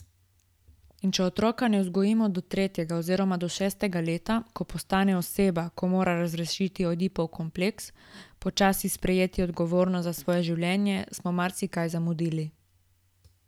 In če otroka ne vzgojimo do tretjega oziroma do šestega leta, ko postane oseba, ko mora razrešiti Ojdipov kompleks, počasi sprejeti odgovornost za svoje življenje, smo marsikaj zamudili.